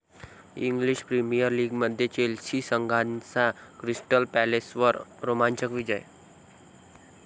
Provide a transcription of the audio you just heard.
English premier लीगमध्ये Chelsea संघाचा Crystal पॅलेसवर रोमांचक विजय